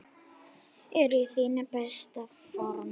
Ertu í þínu besta formi?